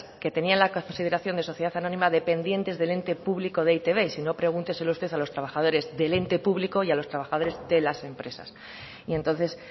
que tenían la consideración de sociedad anónima dependientes del ente público de e i te be y sino pregúnteselo usted a los trabajadores del ente público y a los trabajadores de las empresas y entonces